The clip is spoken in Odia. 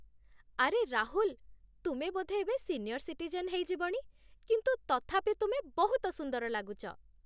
ଆରେ ରାହୁଲ, ତୁମେ ବୋଧେ ଏବେ ସିନିୟର୍ ସିଟିଜେନ୍ ହେଇଯିବଣି, କିନ୍ତୁ ତଥାପି ତୁମେ ବହୁତ ସୁନ୍ଦର ଲାଗୁଚ ।